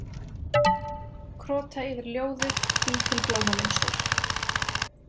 Krota yfir ljóðið, bý til blómamynstur.